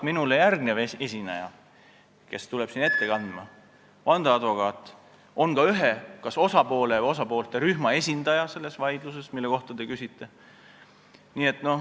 Ma saan aru, et järgmine esineja, vandeadvokaat, on ühe kas osapoole või osapoolte rühma esindaja selles vaidluses, mille kohta te küsite.